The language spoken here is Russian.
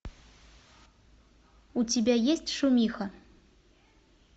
у тебя есть шумиха